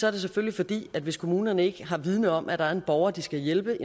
er det selvfølgelig fordi at hvis kommunerne ikke har viden om at der er en borger de skal hjælpe